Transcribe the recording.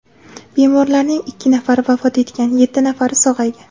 Bemorlarning ikki nafari vafot etgan , yetti nafari sog‘aygan .